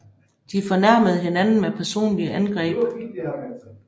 De fornærmede hinanden med personlige angreb